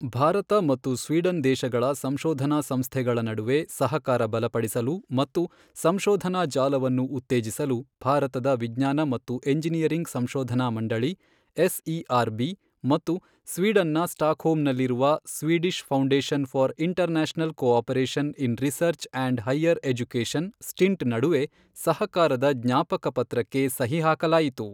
ಭಾರತ ಮತ್ತು ಸ್ವೀಡನ್ ದೇಶಗಳ ಸಂಶೋಧನಾ ಸಂಸ್ಥೆಗಳ ನಡುವೆ ಸಹಕಾರ ಬಲಪಡಿಸಲು ಮತ್ತು ಸಂಶೋಧನಾ ಜಾಲವನ್ನು ಉತ್ತೇಜಿಸಲು ಭಾರತದ ವಿಜ್ಞಾನ ಮತ್ತು ಎಂಜಿನಿಯರಿಂಗ್ ಸಂಶೋಧನಾ ಮಂಡಳಿ ಎಸ್ಇಆರ್ ಬಿ ಮತ್ತು ಸ್ವೀಡನ್ ನ ಸ್ಟಾಕ್ಹೋಮ್ ನಲ್ಲಿರುವ Swedish foundation for international cooperation in research and higher education STINT ನಡುವೆ ಸಹಕಾರದ ಜ್ಞಾಪಕ ಪತ್ರಕ್ಕೆ ಸಹಿ ಹಾಕಲಾಯಿತು.